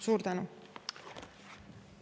Suur tänu!